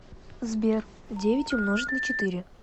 сбер девять умножить на четыре